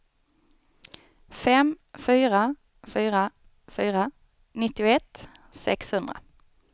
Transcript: fem fyra fyra fyra nittioett sexhundra